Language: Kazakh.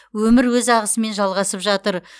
өмір өз ағысымен жалғасып жатыр